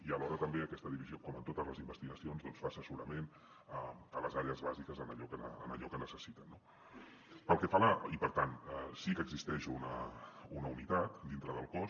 i alhora també aquesta divisió com en totes les investigacions fa assessorament a les àrees bàsiques en allò que necessiten no i per tant sí que existeix una unitat dintre del cos